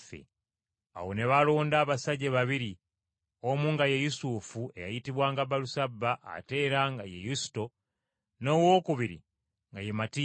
Awo ne balonda abasajja babiri, omu nga ye Yusufu (eyayitibwanga Balusaba ate era nga ye Yusito), n’owokubiri nga ye Matiya.